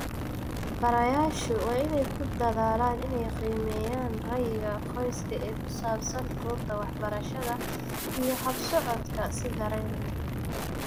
Barayaashu waa inay ku dadaalaan inay qiimeeyaan ra'yiga qoyska ee ku saabsan goobta waxbarashada iyo habsocodka si dareen leh.